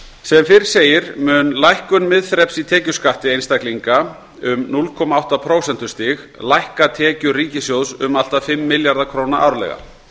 sem fyrr segir mun lækkun miðþreps í tekjuskatti einstaklinga um núll komma átta prósentustig lækka tekjur ríkissjóðs um allt að fimm milljarða króna árlega